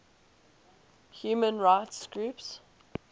human rights groups